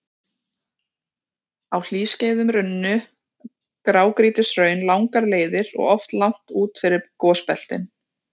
Á hlýskeiðum runnu grágrýtishraun langar leiðir og oft langt út fyrir gosbeltin.